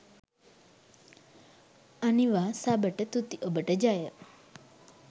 අනිවා සබට තුති ඔබට ජය